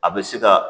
A bɛ se ka